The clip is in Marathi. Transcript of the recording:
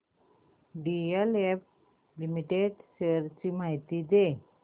डीएलएफ लिमिटेड शेअर्स ची माहिती दे